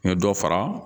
N ye dɔ fara